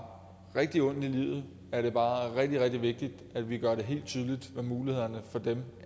rigtig ondt i livet er det bare rigtig rigtig vigtigt at vi gør det helt tydeligt hvad mulighederne for dem